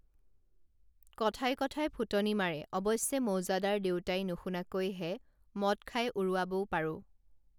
কথাই কথাই ফুটনি মাৰে অৱশ্যে মৌজাদাৰ দেউতাই নুশুনাকৈ হে মদ খাই উৰুৱাবও পাৰো